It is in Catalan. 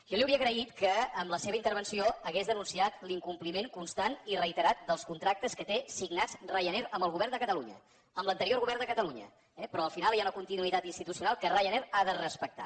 jo li hauria agraït que en la seva intervenció hagués denunciat l’incompliment constant i reiterat dels contractes que té signats ryanair amb el govern de catalunya amb l’anterior govern de catalunya eh però al final hi ha una continuïtat institucional que ryanair ha de respectar